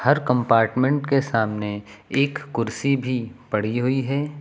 हर compartment के सामने एक कुर्सी भी पड़ी हुई है।